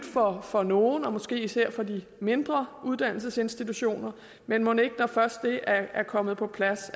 for nogle og måske især for de mindre uddannelsesinstitutioner men mon ikke at det når først det er kommet på plads